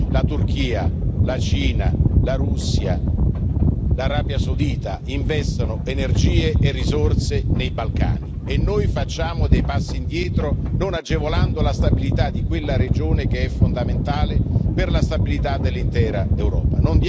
La Turchia, la Cina, la Russia, l'Arabia Saudita investono energie e risorse nei Balcani e noi facciamo dei passi indietro non agevolando la stabilità di quella regione, che è fondamentale per la stabilità dell'intera Europa.